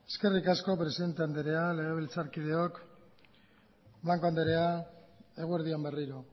eskerrik asko presidente andrea legebiltzarkideok blanco andrea eguerdi on berriro